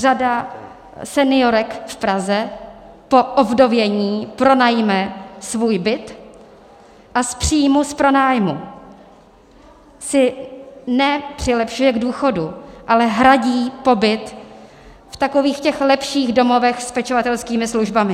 Řada seniorek v Praze po ovdovění pronajme svůj byt a z příjmu z pronájmu si nepřilepšuje k důchodu, ale hradí pobyt v takových těch lepších domovech s pečovatelskými službami.